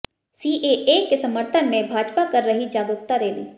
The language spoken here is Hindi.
सीएए के समर्थन में भाजपा कर रही जागरुकता रैली